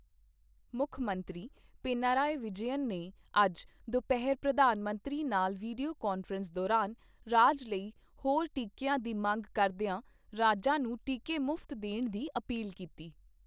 ਮੁੱਖ ਮੰਤਰੀ ਪਿਨਾਰਯੀ ਵਿਜੈਯਨ ਨੇ ਅੱਜ ਦੁਪਹਿਰ ਪ੍ਰਧਾਨ ਮੰਤਰੀ ਨਾਲ ਵੀਡੀਓ ਕਾਨਫ਼ਰੰਸ ਦੌਰਾਨ ਰਾਜ ਲਈ ਹੋਰ ਟੀਕੀਆਂ ਦੀ ਮੰਗ ਕਰਦੀਆਂ ਰਾਜਾਂ ਨੂੰ ਟੀਕੇ ਮੁਫਤ ਦੇਣ ਦੀ ਅਪੀਲ ਕੀਤੀ।